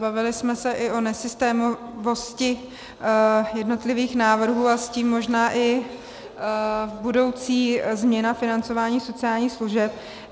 Bavili jsme se i o nesystémovosti jednotlivých návrhů a s tím možná i o budoucí změně financování sociálních služeb.